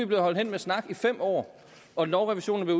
blevet holdt hen med snak i fem år og lovrevisionen er